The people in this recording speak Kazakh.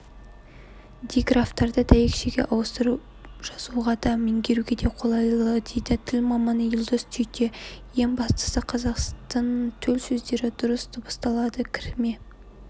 диграфтарды дәйекшеге ауыстыру жазуға да меңгеруге де қолайлы дейді тіл маманы елдос түйте ең бастысы қазақтың төл сөздері дұрыс дыбысталады кірме